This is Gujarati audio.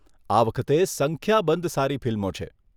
આ વખતે સંખ્યાબંધ સારી ફિલ્મો છે.